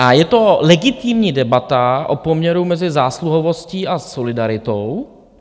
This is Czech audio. A je to legitimní debata o poměru mezi zásluhovostí a solidaritou.